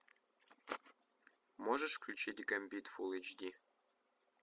можешь включить гамбит фул эйч ди